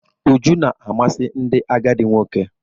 Uju na-amasị ndị agadi nwoke.